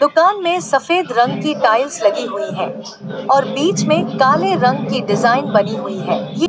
में सफेद रंग की टाइल्स लगी हुई है और बीच में काले रंग की डिजाइन बनी हुई है।